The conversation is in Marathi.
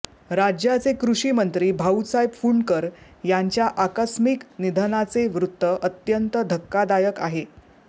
राज्याचे कृषीमंत्री भाऊसाहेब फुंडकर यांच्या आकस्मिक निधनाचे वृत्त अत्यंत धक्कादायक आहे